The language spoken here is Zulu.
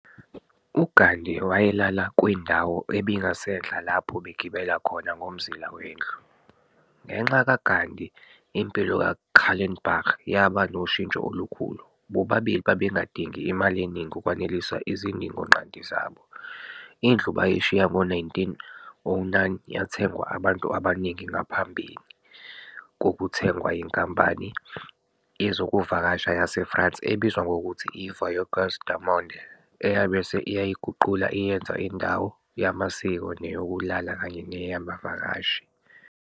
uGhandi wayelala kwindawo ebingasenhla lapho begibela khona ngomzila wendlu, ngenca ka Ghandi impilo ka Kallenbach yaba noshintjo olukhulu, bobabili babengadingi imali eningi ukwanelisa izidingo nqanti zabo.indlu bayishiya ngo 1909 yathengwa abantu abaningi ngaphambi kokuthengwa yinkampani yezokuvakasha yase France ebizwa ngokuthi I Voyaguers du Monde, eyabese iyayiguqula iyenza indawo yamasiko neyokulala kanye neyabavakashi